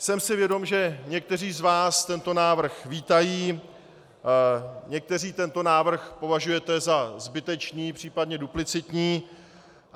Jsem si vědom, že někteří z vás tento návrh vítají, někteří tento návrh považujete za zbytečný, případně duplicitní.